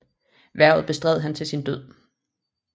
Hvervet bestred han til sin død